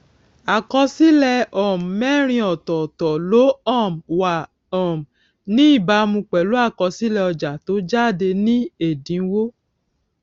àkọsílè um mérin òtòòtò ló um wà um ní ìbámu pèlú àkọsílè ọjà tó jáde ní èdínwó